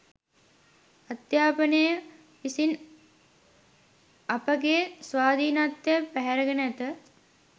අධ්‍යාපනය විසින් අපගේ ස්වාධීනත්වය පැහැරගෙන ඇත